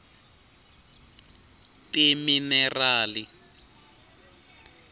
timinerali